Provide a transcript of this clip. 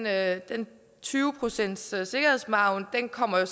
at den tyve procentssikkerhedsmargen kommer